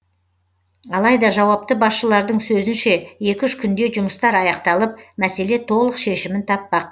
алайда жауапты басшылардың сөзінше екі үш күнде жұмыстар аяқталып мәселе толық шешімін таппақ